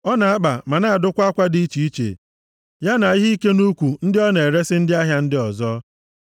Ọ na-akpa ma na-adụkwa akwa dị iche iche, ya na ihe ike nʼukwu, ndị ọ na-eresi ndị ahịa ndị ọzọ.